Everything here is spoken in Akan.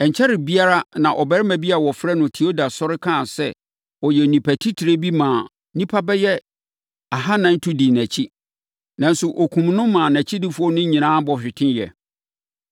Ɛnkyɛree biara na ɔbarima bi a wɔfrɛ no Teuda sɔre, kaa sɛ ɔyɛ onipa titire bi maa nnipa bɛyɛ ahanan tu dii nʼakyi. Nanso, wɔkumm no ma nʼakyidifoɔ no nyinaa bɔ hweteeɛ.